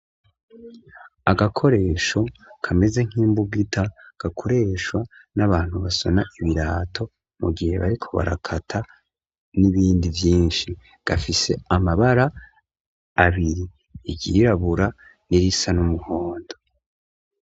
Agakoresho kameze nk'imbugita, gakoreshwa n'abantu basona ibirato mu gihe ariko barakata n'ibindi vyinshi, gafise amabara abiri iry'irabura n'irisa n'umuhondo.